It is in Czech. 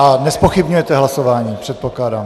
A nezpochybňujete hlasování, předpokládám.